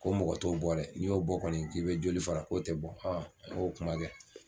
Ko mɔgɔ t'o bɔ dɛ n'i y'o bɔ kɔni k'i bɛ joli fara k'o tɛ bɔ an y'o kuma kɛ.